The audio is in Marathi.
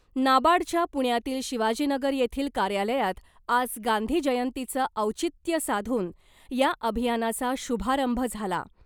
नाबार्डच्या पुण्यातील शिवाजीनगर येथील कार्यालयात आज गांधी जयंतीचं औचित्य साधून या अभियानाचा शुभारंभ झाला .